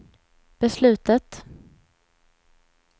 beslutet